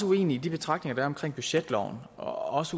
uenig i de betragtninger der er omkring budgetloven og